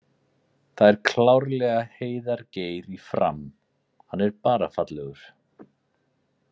Það er klárlega Heiðar Geir í Fram, hann er bara fallegur!!